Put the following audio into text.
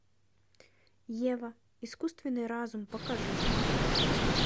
ева искусственный разум покажи